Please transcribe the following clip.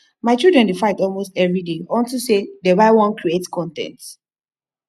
my children dey fight almost everyday unto say dey y wan create con ten t